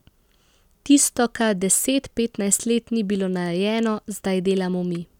Tisto, kar deset, petnajst let ni bilo narejeno, zdaj delamo mi.